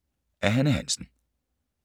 Af Hanne Hansen